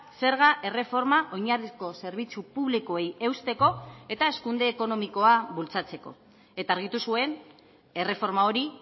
zerga erreforma oinarrizko zerbitzu publikoei eusteko eta hazkunde ekonomikoa bultzatzeko eta argitu zuen erreforma hori